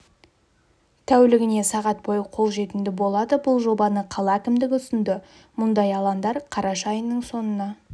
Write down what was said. тәулігіне сағат бойы қолжетімді болады бұл жобаны қала әкімдігі ұсынды мұндай алаңдар қараша айының соңына